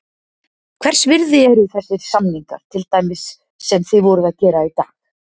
Hvers virði eru þessir samningar, til dæmis sem þið voruð að gera í dag?